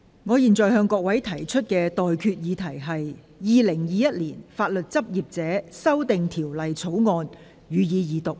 我現在向各位提出的待決議題是：《2021年法律執業者條例草案》，予以二讀。